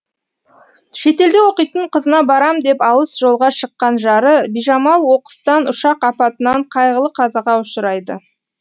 шетелде оқитын қызына барам деп алыс жолға шыққан жары бижамал оқыстан ұшақ апатынан қайғылы қазаға ұшырайды